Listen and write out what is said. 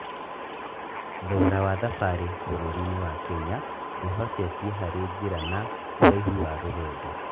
Thogora wa thabarĩ bũrũri-inĩ wa Kenya wĩhocetie harĩ njĩra na ũraihu wa rũgendo.